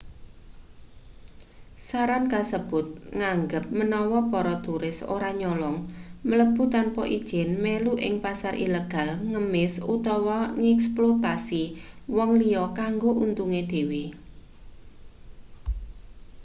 saran kasebut nganggep menawa para turis ora nyolong mlebu tanpa ijin melu ing pasar ilegal ngemis utawa ngeksploitasi wong liya kanggo untunge dhewe